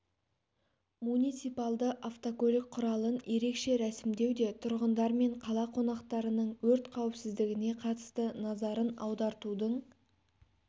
муниципалды автокөлік құралын ерекше рәсімдеу де тұрғындар мен қала қонақтарының өрт қауіпсіздігіне қатысты назарын аудартудың